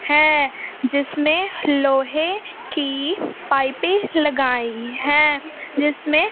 है जिसमें लोहे की पाइपे लगाई है जिसमें--